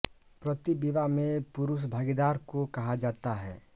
पति विवाह में पुरुष भागीदार को कहा जाता है